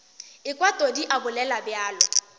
ekwa todi a bolela bjalo